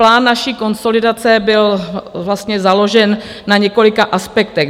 Plán naší konsolidace byl vlastně založen na několika aspektech.